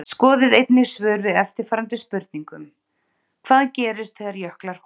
Skoðið einnig svör við eftirfarandi spurningum Hvað gerist þegar jöklar hopa?